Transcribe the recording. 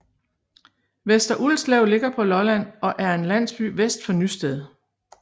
Vester Ulslev ligger på Lolland og er en landsby vest for Nysted